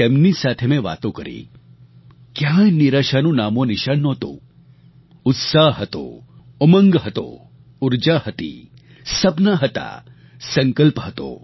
તેમની સાથે મેં વાતો કરી ક્યાંય નિરાશાનું નામોનિશાન નહોતું ઉત્સાહ હતો ઉમંગ હતો ઊર્જા હતી સપનાં હતા સંકલ્પ હતો